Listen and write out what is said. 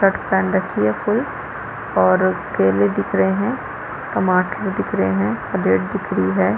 Shirt पेहन रखी है ऐसी और केले दिख रहे है टमाटर दिख रहे है दिख रही है।